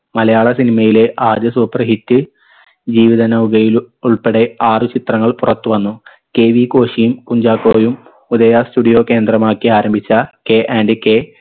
മലയാള cinema യിലെ ആദ്യ super hit ജീവിത നൗകയിൽ ഉൾപ്പെടെ ആറു ചിത്രങ്ങൾ പുറത്തു വന്നു KV കോശിയും കുഞ്ചാക്കോയും ഉദയ studio കേന്ദ്രമാക്കി ആരംഭിച്ച കെ and കെ